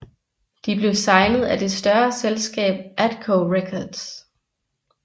De blev signet af det større selskab Atco Records